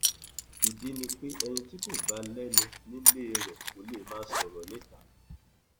ìdí ni pé ẹni tí kò bá lẹnu nílé rẹ kò lè máa sọrọ níta